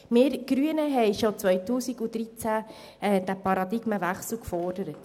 Wir Grünen haben diesen Paradigmenwechsel bereits im Jahr 2013 gefordert.